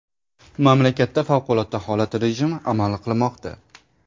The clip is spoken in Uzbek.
Mamlakatda favqulodda holat rejimi amal qilmoqda.